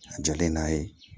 A jalen n'a ye